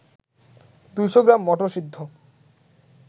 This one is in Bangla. ২০০ গ্রাম মটরসিদ্ধ